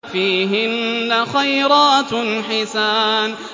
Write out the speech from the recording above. فِيهِنَّ خَيْرَاتٌ حِسَانٌ